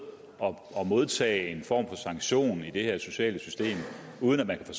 og modtage en form for sanktion i det her sociale system uden at man kan